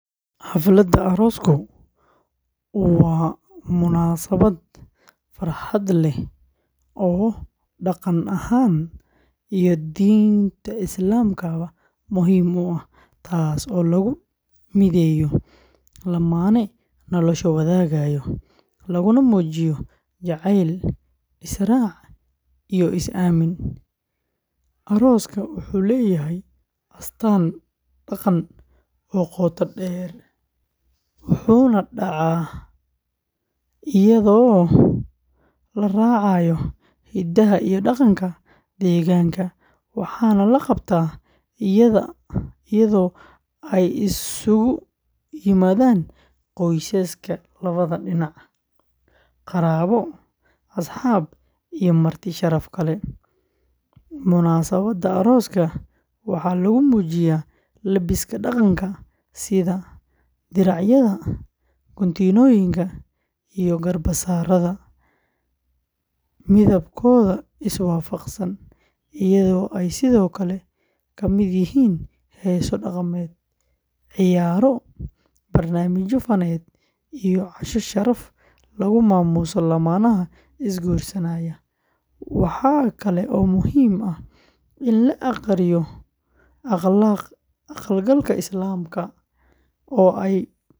Xafladda aroosku waa munaasabad farxad leh oo dhaqan ahaan iyo diinta Islaamka ba muhiim u ah, taas oo lagu mideeyo lamaane nolosha wadaagaya, laguna muujiyo jacayl, is-raac iyo is-aamin. Arooska Soomaaliyeed wuxuu leeyahay astaan dhaqan oo qoto dheer, wuxuuna dhacaa iyadoo la raacayo hidaha iyo dhaqanka deegaanka, waxaana la qabtaa iyadoo ay isugu yimaadaan qoysaska labada dhinac, qaraabo, asxaab iyo marti sharaf kale. Munaasabadda arooska waxaa lagu muujiyaa labiska dhaqanka, sida diracyada, guntimooyinka, iyo garbasaarada midabkooda iswaafaqsan, iyadoo ay sidoo kale ka mid yihiin heeso dhaqameed, ciyaaro, barnaamijyo faneed iyo casho sharaf lagu maamuuso lamaanaha is-guursanaya. Waxa kale oo muhiim ah in la aqriyo aqal-galka Islaamka oo ay ka marag kacaan rag iyo dumar.